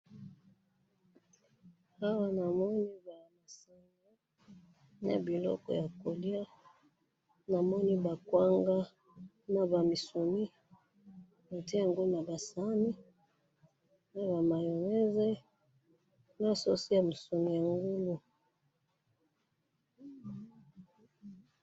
awa namoni biloko ya kolya namoni ba kwanga naba misuni otiyango naba sahane naba mayonaise na sosi ya misuni yango